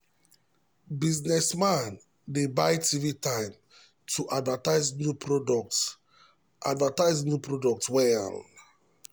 businessman dey buy tv time to advertise new product advertise new product well.